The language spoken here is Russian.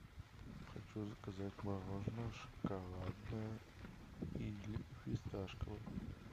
хочу заказать мороженое шоколадное или фисташковое